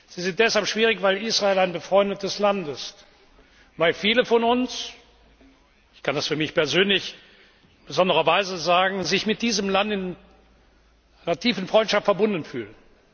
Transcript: Sie sind deshalb schwierig, weil Israel ein befreundetes Land ist, weil viele von uns ich kann das für mich persönlich in besonderer Weise sagen sich mit diesem Land in einer tiefen Freundschaft verbunden fühlen.